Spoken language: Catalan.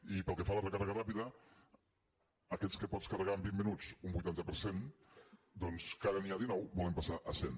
i pel que fa a la recàrrega ràpida aquestes que pots carregar en vint minuts un vuitanta per cent doncs que ara n’hi ha dinou volem passar a cent